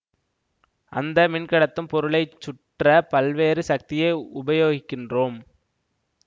அந்த மின் கடத்தும் பொருளை சுற்ற பல்வேறு சக்தியை உபயோகிக்கின்றோம்